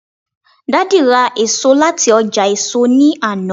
daddy ra eso lati oja èso ni Ana